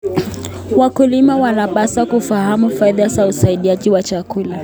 Wakulima wanapaswa kufahamu faida za usindikaji wa chakula.